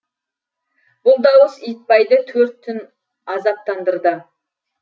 бұл дауыс итбайды төрт түн азаптандырды